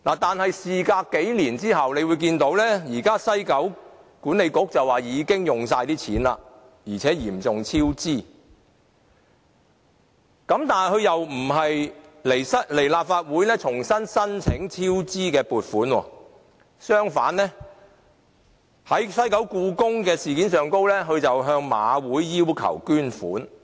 但是，事隔幾年，大家看到現時西九文化區管理局表示已經把錢花光，而且嚴重超支，但它卻不來立法會重新申請超支的撥款，反而在西九故宮文化博物館的事件上向馬會要求捐款。